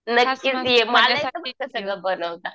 नक्कीच ये